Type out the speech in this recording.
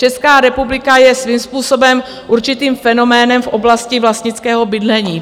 Česká republika je svým způsobem určitým fenoménem v oblasti vlastnického bydlení.